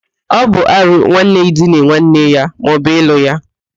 Ọ bụ árụ nwanne idina nwanne ya maọbu ịlụ ya